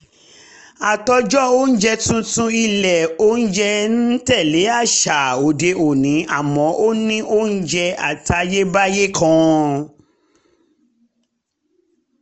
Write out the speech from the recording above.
àtòjọ oúnjẹ tuntun ilé oúnjẹ ń tẹ̀lé àṣà òde òní àmọ́ ó ní oúnjẹ àtayébáyé kan